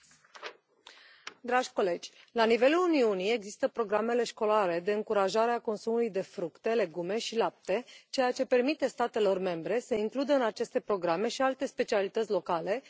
Doamnă președintă, la nivelul Uniunii există programele școlare de încurajare a consumului de fructe, legume și lapte, ceea ce permite statelor membre să includă în aceste programe și alte specialități locale, cum ar fi mierea.